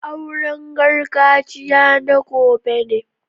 Auren gargajiya na gobe ne.